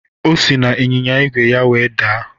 O si n'anyịnya ígwè ya wee daa